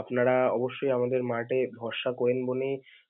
আপনারা অবশ্যই আমাদের mart এ ভরশা করেন বলেই